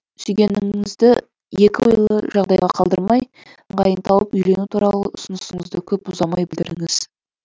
сүйгеніңізді екі ойлы жағдайға қалдырмай ыңғайын тауып үйлену туралы ұсынысыңызды көп ұзамай білдіріңіз